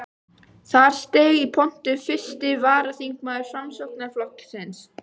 Þar steig í pontu fyrsti varaþingmaður Framsóknarflokksins.